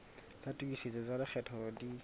tsa tokisetso tsa lekgetho di